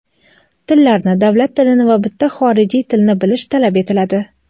tillarni — davlat tilini va bitta xorijiy tilni bilish talab etiladi.